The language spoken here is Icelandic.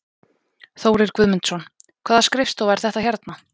Þórir Guðmundsson: Hvaða skrifstofa er þetta hérna?